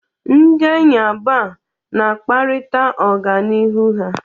Ndị enyi abụọ a na-akparịta ọganihu ha.